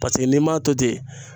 Paseke n'i m'a to ten